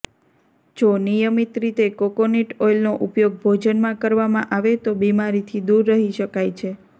જો નિયમિત રીતે કોકોનટ ઓઈલનો ઉપયોગ ભોજનમાં કરવામાં આવે તો બિમારીથી દૂર રહી શકાય છે